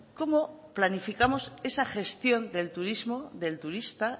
cómo planificamos esa gestión del turismo del turista